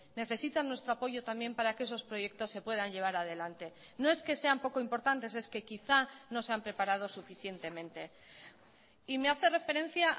necesitan nuestro apoyo también para que esos proyectos se puedan llevar adelante no es que sean poco importantes es que quizá no se han preparado suficientemente y me hace referencia